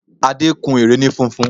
Adé kun ère ni funfun